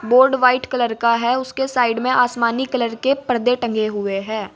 Board white colour का है उसके साइड में आसमानी कलर के पर्दे टांगे हुए हैं।